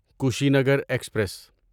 Kushinagar express